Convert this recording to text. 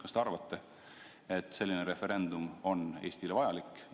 Kas te arvate, et selline referendum on Eestile vajalik?